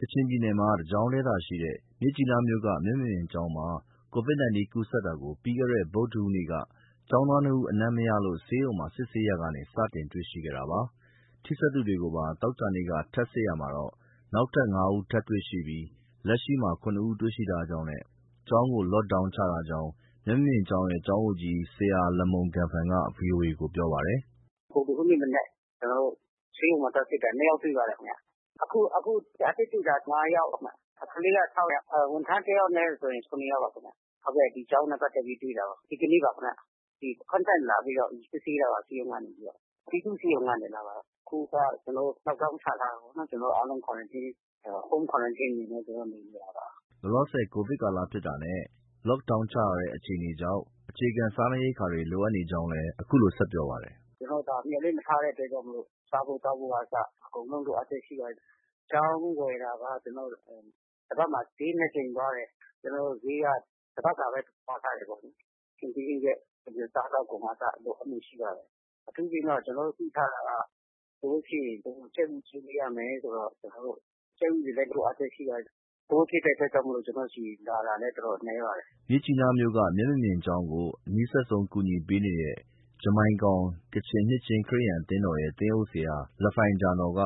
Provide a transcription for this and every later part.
ကချင်ပြည်နယ်မှာ တကျောင်းတည်းသာရှိတဲ့ မြစ်ကြီးနားမြို့က မျက်မမြင်ကျောင်းမှာ COVID-19 ကူးစက်တာကို ပြီးခဲ့တဲ့ ဗုဒ္ဓဟူးနေ့က ကျောင်းသားနှစ်ဦး အနံ့မရလို့ ဆေးရုံမှာ စစ်ဆေးရာကနေ စတင်တွေ့ရှိခဲ့တာပါ။ ထိစပ်သူတွေကိုပါ သောကြာနေ့က ထပ်စစ်တာမှာတော့ နောက်ထပ် ၅ ဦးတွေ့ရှိပြီး လက်ရှိမှာ ၇ ဦး တွေ့ရှိ ထားကြောင်းနဲ့ ကျောင်းကို Lockdown ချထားကြောင်း မျက်မမြင်ကျောင်းရဲ့ ကျောင်းအုပ်ကြီး ဆရာ လမုန် ဂမ်ဖန်က ဗွီအိုအေကို ပြောပါတယ်။ “ဗုဒ္ဓဟူးနေ့မနက် ကျနော်တို့ ဆေးရုံမှာ သွားစစ်တာ နှစ်ယောက်တွေ့ပါတယ်ခင်ဗျ။ အခု အသစ်တွေ့တာ ၅ ယောက်ခင်ဗျ။ ကလေးက ၆ ယောက်။ ဝန်ထမ်း ၁ ယောက်နဲ့ပါဆို ၇ ယောက်ပါခင်ဗျ။ ဒီကျောင်းနဲ့ပတ်သက် ပြီးတွေ့တာ ဒီကနေ့ပါခင်ဗျ။ Contact လာပြီးစစ်ဆေးတာပါ။ ဆေးရုံကနေပြီး၊ ပြည်သူ့ဆေးရုံကနေ လာတာပါ။ အခုက ကျနော်တို့ Lockdown ချထားတာပေါ့။ ကျနော်တို့ ားလုံး Quarantine ၊ Home Quarantine အနေ နဲ့ နေနေတာပါ။” လောလောဆည် ကိုဗစ်ကာလဖြစ်တာနဲ့ Lockdown ချထားတဲ့အခြေအနေကြောင့် အခြေခံ စားနပ်ရိက္ခာတွေ လိုအပ်နေကြောင်းလည်း အခုလို ဆက်ပြောပါတယ်။ “ကျနော်တို့ မျှော်လင့်မထားတဲ့အတွက်ကြောင့် စားဖို့၊ သောက်ဖို့ကအစ အကုန်လုံး လိုအပ်ချက်ရှိပါတယ်။ ကျောင်းဝယ်တာက တပတ်မှာ ဈေး နှစ်ကြိမ်သွားတယ်။ ကျနော်တို့ ဈေးက တပတ်စာပဲ စုဆောင်းထားတယ်ပေါ့လေ။ ဟင်းသီးဟင်းရွက်က အခြေခံစားသောက်ကုန်ကအစ လိုအပ်လေ့ရှိပါတယ်။ အထူးသဖြင့်တော့ ကျနော်တို့သိထားတာက ကိုဗစ်ဖြစ်ရင် ကြက်ဥ ကျွေးပေးရမယ်ဆိုတော့ ကျနော်တို့ ကြက်ဥတွေလည်း လိုအပ်လျက်ရှိပါတယ်။ ကိုဗစ်ဖြစ်တဲ့အတွက်ကြောင့် ကျနော်တို့ဆီလာတာလည်း တော်တော်နည်းပါတယ်။ ” မြစ်ကြီးနားမြို့က မျက်မမြင်ကျောင်းကို အနီးစပ်ဆုံး ကူညီပေးနေတဲ့ ဂျမိုင်ကောင် ကချင်နှစ်ခြင်း ခရစ်ယာန် အသင်းတော်ရဲ့ သင်းအုပ်ဆရာ လဖိုင်ဂျာနော်က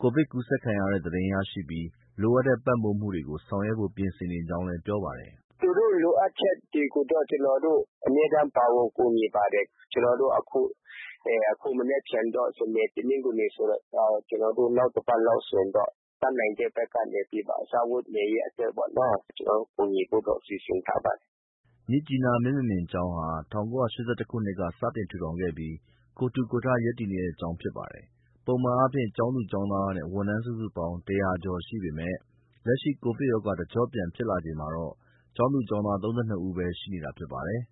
ကိုဗစ်ကူးစက်တဲ့သတင်းရရှိပြီး လိုအပ်တဲ့ပံ့ပိုးမှုတွေ ဆောင်ရွက်ဖို့ ပြင်ဆင်နေကြောင်း ပြောပါတယ်။ “သူတို့ လိုအပ်ချက်တွေကိုတော့ ကျနော်တို့ အမြဲတမ်း ပါဝင်ကူညီပါတယ်။ ကျနော်တို့ အခု မနက်ဖြန်တော့ စနေ၊ တနင်္ဂနွေဆိုတော့ ကျနော်တို့ နောက်တပတ်လောက်ဆိုရင်တော့ တတ်နိုင်တဲ့ဘက်ကနေပြီး စားဝတ်နေရေးအတွက်ပေါ့နော ကျနော်တို့ ကူညီဖို့တော့ စီစဉ်ထားပါတယ်။” မြစ်ကြီးနား မျက်မမြင်ကျောင်းဟာ ၁၉၈၁ ခုနှစ်က စတင်တည်ထောင်ခဲ့ပြီး ကိုယ်ထူကိုယ်ထ ရပ်တည်နေတဲ့ကျောင်းဖြစ်ပါတယ်။ ပုံမှန်အားဖြင့် ကျောင်းသူ၊ ကျောင်းသားနဲ့ ဝန်ထမ်း စုစုပေါင်း ၁၀၀ ကျော်ရှိပေမဲ့ လက်ရှိ ကိုဗစ်ရောဂါ တကျော့ပြန် ဖြစ်လာချိန်မှာတော့ ကျောင်းသူ၊ ကျောင်းသား ၃၂ ဦးပဲ ရှိနေတာဖြစ်ပါတယ်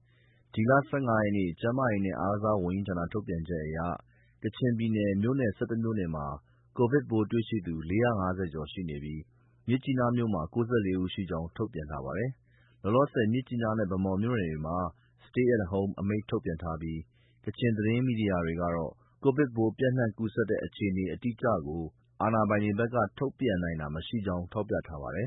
။ ဒီလ ၁၅ ရက်နေ့ ကျန်းမာရေးနဲ့ အားကစားဝန်ကြီးဌာနရဲ့ ထုတ်ပြန်ချက်အရ ကချင်ပြည်နယ်က မြို့နယ် ၁၁ မြို့နယ်မှာ ကိုဗစ်ပိုးတွေ့ရှိသူ ၄၅၀ ကျော်ရှိနေပြီး မြစ်ကြီးနားမြို့နယ်မှာ ၉၄ ဦးရှိကြောင်း ထုတ်ပြန်ထားပါတယ်။ လောလောဆည် မြစ်ကြီးနားနဲ့ ဗန်းမော်မြို့နယ်တွေမှာ Stay at home အမိန့် ထုတ်ထားပါတယ်။ ကချင်သတင်းမီဒီယာတွေကတော့ ကိုဗစ်ပိုး ပျံ့နှံ့ကူးစက်တဲ့ အခြေအနေအတိအကျကို အာဏာပိုင်တွေဘက်က ထုတ်ပြန်နိုင်တာမရှိကြောင်း ထောက်ပြထားပါတယ်